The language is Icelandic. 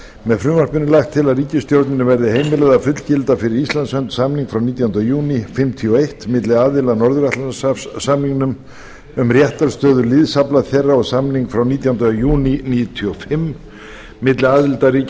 með frumvarpinu er lagt til að ríkisstjórninni verði heimilað að fullgilda fyrir íslands hönd samning frá nítjánda júní nítján hundruð fimmtíu og eitt milli aðila að norður atlantshafssamningnum um réttarstöðu liðsafla þeirra og samning frá nítjánda júní nítján hundruð níutíu og fimm milli aðildarríkja